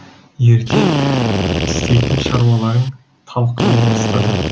ертең істейтін шаруаларын талқылай бастады